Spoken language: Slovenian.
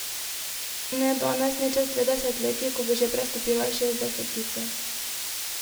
Ne danes ne čez dve desetletji, ko bo že prestopila šestdesetico.